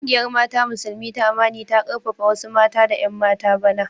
Kungiyar mata Musulmi ta Amani ta karfafa wasu mata da 'yan mata bana.